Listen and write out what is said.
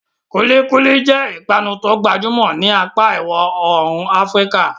Kulikuli jẹ́ ìpanu tó gbajúmọ̀ ní apá ìwọ̀ oòrùn Afíríkà.